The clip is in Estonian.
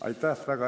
Aitäh!